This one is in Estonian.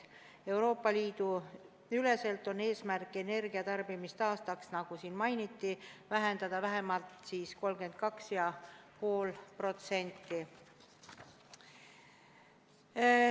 Euroopa Liidu üleselt on eesmärk energiatarbimist aastas, nagu siin mainiti, vähendada vähemalt 32,5%.